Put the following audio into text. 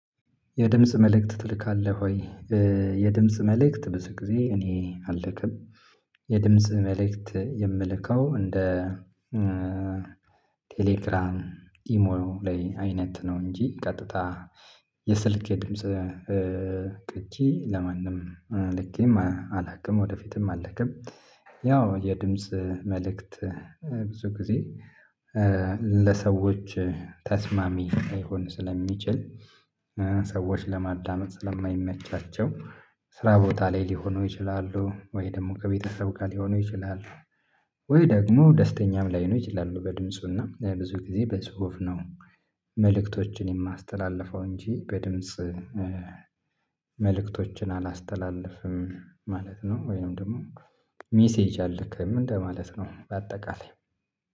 የድምጽ መልእክት ትልካለህ ወይ? የድምጽ መልእክት ብዙ ጊዜ እኔ አልክም። የድምጽ መልእክት የምልከው እንደ ቴሌግራም ኢሞ ላይ አይነት ነው እንጂ ቀጥታ የስልኬ ድምጽ ቅጂ ለማንም ልኬም አላቅም ወደፊትም አልክም። ያው የድምጽ መልእክት ብዙ ጊዜ ለሰዎች ተስማሚ ላይሆን ስለሚችል ሰዎች ለማዳመጥ ስለማይመቻቸው ስራ ቦታ ላይ ሊሆኑ ይችላሉ ወይ ደግሞ ከቤተሰብ ጋር ሊሆኑ ይችላል። ወይ ደግሞ ደስተኛም ላይሆኑ ይችላሉ በድምፁና ብዙ ጊዜ በጹሁፍ ነው የማስተላልፈው እንጂ በድምጽ መልእክቶችን አላስተላልፍም ማለት ነው። ወይንም ደግሞ ሜሴጅ አለክም እንደ ማለት ነው። በአጠቃላይ